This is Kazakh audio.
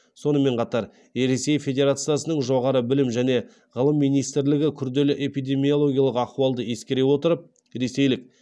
сонымен қатар ресей федерациясының жоғары білім және ғылым министрлігі күрделі эпидемиологиялық ахуалды ескере отырып ресейлік